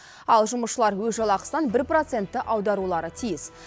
ал жұмысшылар өз жалақысынан бір процентті аударулары тиіс